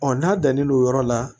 n'a dannen don o yɔrɔ la